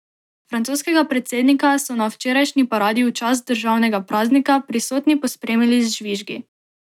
Francoskega predsednika so na včerajšnji paradi v čast državnega praznika prisotni pospremili z žvižgi.